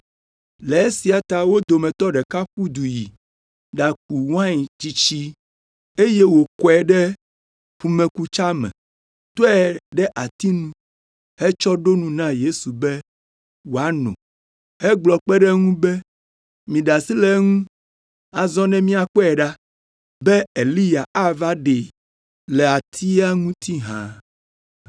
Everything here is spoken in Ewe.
Le esia ta wo dometɔ ɖeka ƒu du yi ɖaku wain tsitsi eye wòkɔe ɖe ƒumekutsa me, tɔe ɖe ati nu hetsɔ ɖo nu na Yesu be wòano hegblɔ kpe ɖe eŋu be, “Miɖe asi le eŋu azɔ ne míakpɔe ɖa be Eliya ava ɖee le atia ŋuti hã.”